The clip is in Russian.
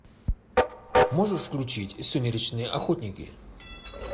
можешь включить сумеречные охотники